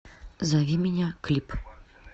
зови меня клип